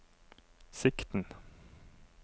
sikten